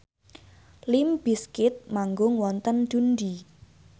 limp bizkit manggung wonten Dundee